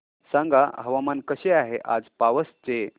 सांगा हवामान कसे आहे आज पावस चे